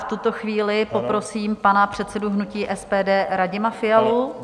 V tuto chvíli poprosím pana předsedu hnutí SPD Radima Fialu.